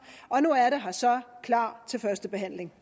og nu er det her så klar til første behandling